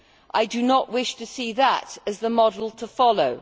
I do not wish to see that as the model to follow.